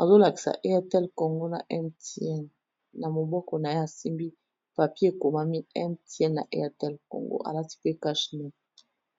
,azo lakisa Airtlel Congo na Mtn . Na moboko na ye a simbi papier e komami Mtn na Airtel Congo, a lati pe cash nez.